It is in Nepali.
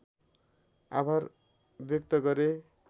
आभार व्यक्त गरे